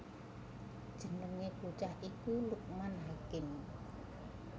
Jenengé bocah iku Lukman Hakim